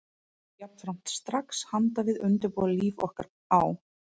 Ég hófst jafnframt strax handa við að undirbúa líf okkar á